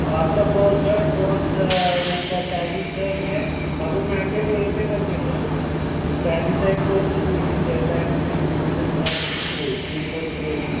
आता कोर्से आहे एक टॅलीच अजून मेनडेट यायचं आजून त्यानंकडून एक टेलीचा एक कोर्से डेटा डिजिटल मार्केटिंग होतील तीन कोर्से सुरू होतील